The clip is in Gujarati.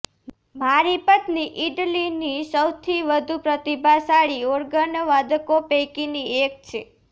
મારી પત્ની ઈટલીની સૌથી વધુ પ્રતિભાશાળી ઓર્ગનવાદકો પૈકીની એક છે